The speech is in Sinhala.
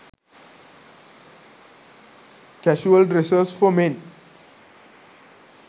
casual dresses for men